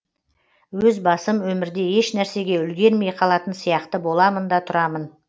өз басым өмірде ешнәрсеге үлгермей қалатын сияқты боламын да тұрамын